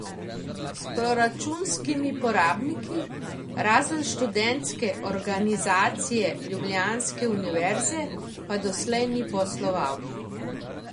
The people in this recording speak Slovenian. S proračunskimi porabniki, razen Študentske organizacije ljubljanske univerze pa doslej ni posloval.